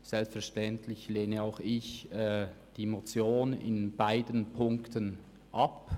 Selbstverständlich lehne auch ich die Motion in beiden Ziffern ab.